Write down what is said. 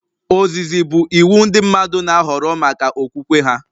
Ozizi bụ iwu ndị mmadụ na-ahọrọ maka okwukwe ha